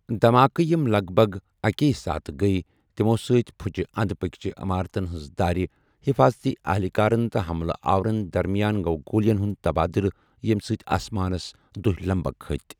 دھماکہِ یِم لَگ بَگ اَکی ساتہٕ گٔیہ تِمو٘ سۭتۍ پھُچہِ اندۍ پكۍ چین عمارتَن ہٕنٛزٕ دارِ، حفاظتی اہلکارَن تہٕ حملہ آورَن درمیان گوٚو گولین ہُنٛد تبادلہٕ، ییٚمہِ سۭتۍ آسمانَس دہہِ لمبكھ كھٕتہِ ۔